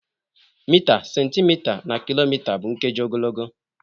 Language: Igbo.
Mita, centimita, na kilomita bụ nkeji ogologo.